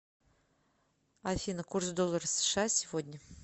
афина курс доллара сша сегодня